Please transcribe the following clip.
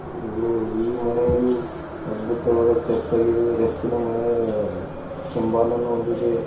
ಈ ಮನೆಯು ಅದ್ಭುತವಾದ ಚರ್ಚ್ ಆಗಿದೆ ಚುರ್ಚ್ನ ಸಿಂಬಲ್ ಅನ್ನು ಹೊಂದಿದೆ.